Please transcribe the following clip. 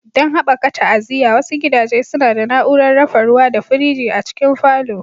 Don haɓaka ta'aziyya, wasu gidaje suna da na'urar dafa ruwa da firji a cikin falon.